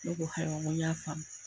Ne ko hayiwa n ko y'a faamu.